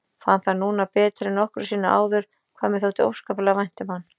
Fann það núna betur en nokkru sinni áður hvað mér þótti óskaplega vænt um hann.